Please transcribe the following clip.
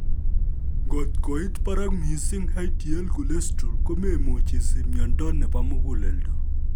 Ngot koit barak missing hdl cholesterol , komemuch isich myondo nebo muguleldo